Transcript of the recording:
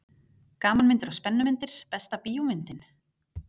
Gamanmyndir og spennumyndir Besta bíómyndin?